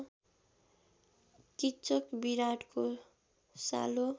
किच्चक विराटको सालो